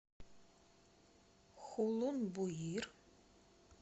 хулун буир